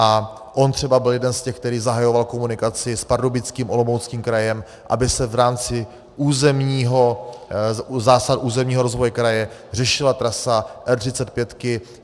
A on třeba byl jedním z těch, který zahajoval komunikaci s Pardubickým, Olomouckým krajem, aby se v rámci zásah územního rozvoje kraje řešila trasa R35.